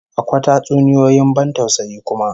Akwa tatsuniyoyin ban tausayi kuma